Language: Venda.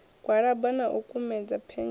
gwalaba na u kumedza phethishini